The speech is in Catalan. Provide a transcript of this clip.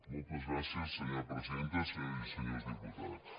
moltes gràcies senyora presidenta senyores i senyors diputats